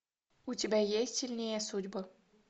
у тебя есть сильнее судьбы